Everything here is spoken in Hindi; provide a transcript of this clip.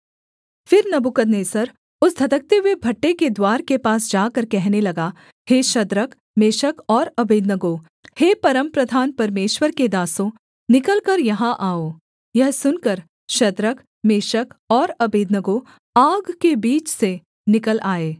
फिर नबूकदनेस्सर उस धधकते हुए भट्ठे के द्वार के पास जाकर कहने लगा हे शद्रक मेशक और अबेदनगो हे परमप्रधान परमेश्वर के दासों निकलकर यहाँ आओ यह सुनकर शद्रक मेशक और अबेदनगो आग के बीच से निकल आए